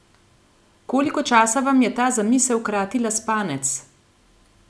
Koliko časa vam je ta zamisel kratila spanec?